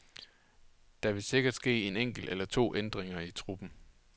Der vil sikkert ske en enkelt eller to ændringer i truppen.